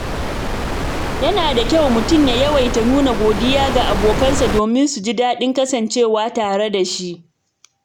Yana da kyau mutum ya yawaita nuna godiya ga abokansa domin su ji daɗin kasancewa tare da shi.